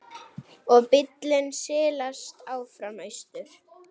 Og bíllinn silast áfram austur.